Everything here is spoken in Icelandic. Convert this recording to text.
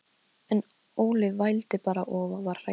En Óli vældi bara og var hræddur.